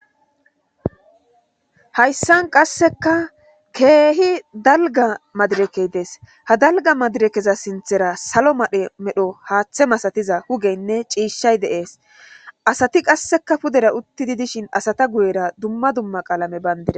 hayssan qasseka keehi dalga madirekey dees ha dalga madirekeza sinthera salo madhe medho haaththe masatiza hugeynne ciishshay deees asati qasseka pudera utti di dishin asata guyera dumma dumma qaalame bayndira